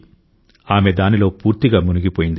ఆమె దానిలో పూర్తిగా మునిగిపోయింది